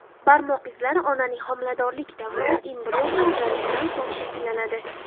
Barmoq izlari onaning homiladorlik davrida, embrion ajralishidan so‘ng shakllanadi.